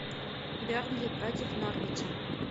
бернли против норвича